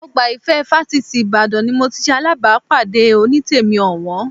Ọgbà Ìfẹ́ fásitì Ìbàdàn ni mo ti ṣe alábàápàdé Onítèmi ọ̀wọ́n